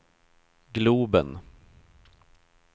globen